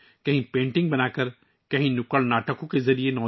دوسری جگہوں پر نوجوانوں کو پینٹنگ کے ذریعے راغب کیا جا رہا ہے